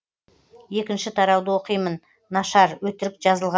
екінші тарауды оқимын нашар өтірік жазылған